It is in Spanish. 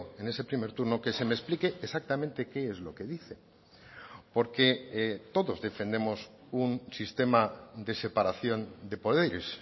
en ese primer turno que se me explique exactamente qué es lo que dice porque todos defendemos un sistema de separación de poderes